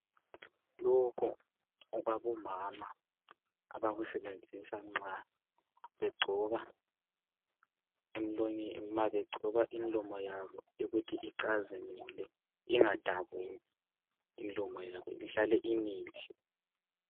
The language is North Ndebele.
Lokho okwabo mama abakusebenzisa nxa begcoba imlomo yabo ukuthi icazimule ingadabuki imlomo yabo ,ihlale imihle .